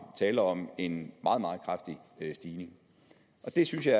tale om en meget meget kraftig stigning og det synes jeg